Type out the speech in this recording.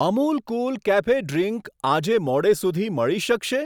Amul cool cafe drink આજે મોડે સુધી મળી શકશે?